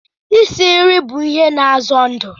Isi nri bụ a ihe na azo ndụ